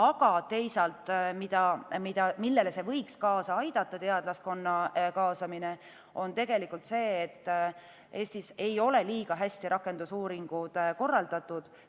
Aga teisalt, millele võiks teadlaskonna kaasamine kaasa aidata, on rakendusuuringute parem korraldus .